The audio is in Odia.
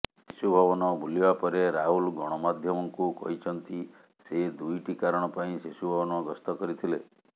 ଶିଶୁଭବନ ବୁଲିବା ପରେ ରାହୁଲ ଗଣମାଧ୍ୟମଙ୍କୁ କହିଛନ୍ତି ସେ ଦୁଇଟି କାରଣ ପାଇଁ ଶିଶୁଭବନ ଗସ୍ତ କରିଥିଲେ